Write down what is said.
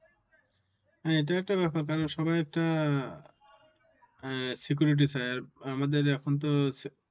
হ্যাঁ, এটা একটা বেপার কারণ সবাই একটা আহ security চায়। আর আমাদের এখন তো হচ্ছে